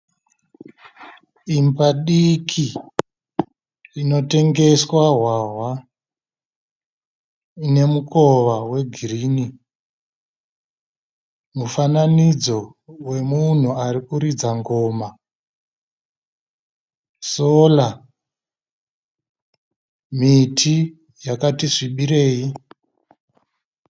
Imba diki inotengeswa hwahwa ine mukova we green, mufananidzo wemunhu arikuridza ngoma, solar, miti yakati svibirei.